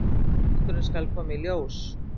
Sannleikurinn skal koma í ljós.